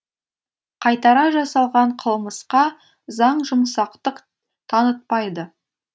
қайтара жасалған қылмысқа заң жұмсақтық танытпайды